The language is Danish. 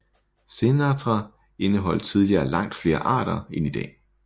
Xenarthra indeholdt tidligere langt flere arter end i dag